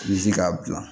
I bi se k'a bila